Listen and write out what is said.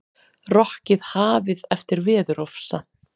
Rokkið hafið eftir veðurofsa